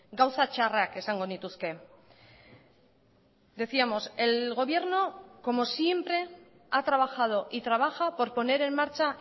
gauza txarrak esango nituzke decíamos el gobierno como siempre ha trabajado y trabaja por poner en marcha